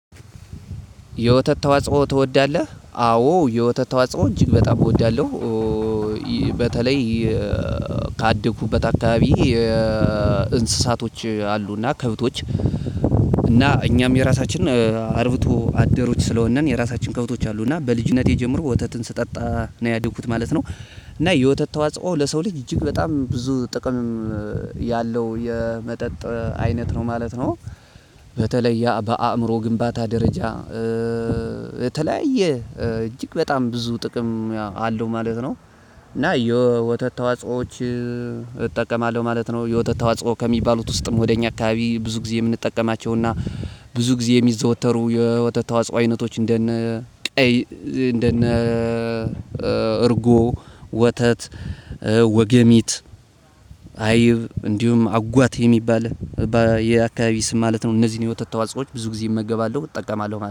የወተት ተዋጽኦ ትወዳለህ አዎ የወተት ተዋጽኦ እጅግ በጣም እወዳለሁ። በተለይ ካደኩበት አካባቢ እንስሳቶች አሉና ከብቶች እና እኛም የራሳችን አርብቶ አደሮች ስለሆንን የራሳችን ከብቶች አሉ እና በልጅነቴ ጀምሮ ወተትን ስጠጣ ነው ያደኩት ማለት ነው። እና የወተት ተዋጽኦ ለሰው ልጅ እጅግ በጣም ብዙ ጥቅምም ያለው የመጠጥ አይነት ነው ማለት ነው። በተለይ ያ በአእምሮ ግንባታ ደረጃ የተለያየ እጅግ በጣም ብዙ ጥቅም አለው ማለት ነው። እና የወተት ተዋጽኦዎች እጠቀማለሁ ማለት ነው። የወተት ተዋጽኦ ከሚባሉት ውስጥም ወደ እኛ አካባቢ ብዙ ጊዜ የምንጠቀማቸውና ብዙ ጊዜ የሚዘወተሩ የወተት ተዋጽኦ አይነቶች እንደነ ቀይ እንደነ እርጎ ወተት ወገሚት አይብ እንዲሁም አጓት የሚባል የአካባቢ ስም ማለት ነው እነዚህን የውተት ተዋጽኦዎች ብዙ ጊዜ እመገባለሁ እጠቀማለሁ ማለት